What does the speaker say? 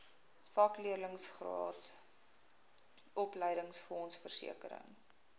vakleerlingraad opleidingsfonds versekering